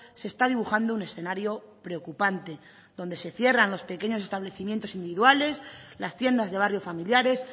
se está dibujando un escenario preocupante donde se cierran los pequeños establecimientos individuales las tiendas de barrio familiares